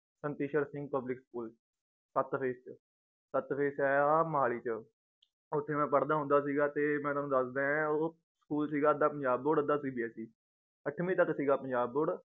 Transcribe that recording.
ਸਨਤੀਸ਼ਰ Singh public school ਸੱਤ phase ਚ ਸੱਤ phase ਚ ਏ ਆਹ ਮੋਹਾਲੀ ਚ ਓਥੇ ਮੈ ਪੜ੍ਹਦਾ ਹੁੰਦਾ ਸੀਗਾ ਤੇ ਮੈ ਤੁਹਾਨੂੰ ਦੱਸਦਾਂ ਏਂ ਉਹ ਸਕੂਲ ਸੀਗਾ ਅੱਧਾ ਪੰਜਾਬ board ਅੱਧਾ CBSE ਅੱਠਵੀਂ ਤੱਕ ਸੀਗਾ ਪੰਜਾਬ board